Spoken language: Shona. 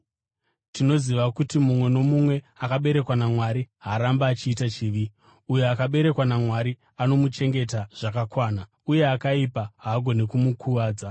Tinoziva kuti mumwe nomumwe akaberekwa naMwari haarambi achiita chivi; uyo akaberekwa naMwari anomuchengeta zvakanaka, uye akaipa haagoni kumukuvadza.